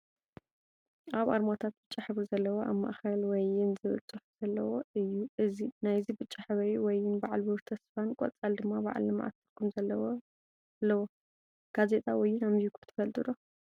ካብ ኣርማታት ብጫ ሕብሪ ዘለዎ ኣብ ማእከል ወይን ዝብል ፅሑፍ ዘለዎ እዩ ናይዚ ብጫ ሕብሪ ወይን በዓል ብሩህ ተስፋ ን ቆፃል ድማ በዓል ልምዓት ዝብል ትርጉም ኣለዋ። ጋዜጣ ወይን ኣቢብኩም ትፈልጡ ዶ ?